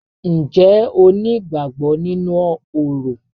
Ǹjẹ́ o ní ìgbàgbọ nínú orò?